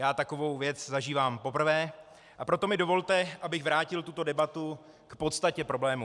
Já takovou věc zažívám poprvé, a proto mi dovolte, abych vrátil tuto debatu k podstatě problému.